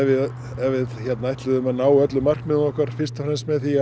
ef við ætluðum að ná öllum markmiðum okkar fyrst og fremst með því